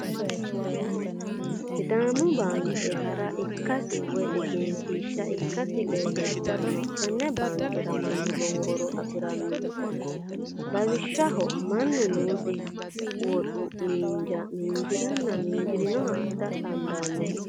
Sidaamu bamke hara ikkasi woyi eggenshisha ikkasi leelishanno, tenebbaankera manu lowo horo afirano lawishao manu noosiha woxxu minija minijirana minjirinoha adha dandano